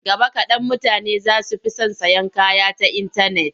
Gaba kaɗan mutane za su fi son sayan kaya ta intanet.